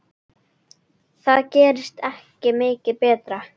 Það gerist ekki mikið betra.